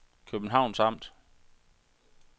Københavns Amt